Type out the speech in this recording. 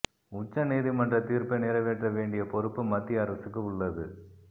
உச்ச நீதிமன்றத் தீர்ப்பை நிறைவேற்ற வேண்டிய பொறுப்பு மத்திய அரசுக்கு உள்ளது